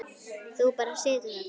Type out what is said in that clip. Þú bara situr þarna.